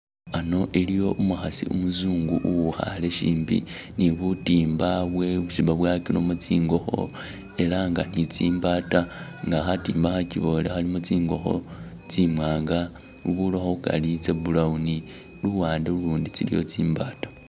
Ano iliwo umukhasi umuzungu uwu khale shimbi nibutimba bwesi babuwakilemo tsingokho era ni tsimbata nga khatimba khakyibole khalimo tsingokho tsimwanga bubulikho khukari tsa brown luwande lulundi tsiliwo tsimbata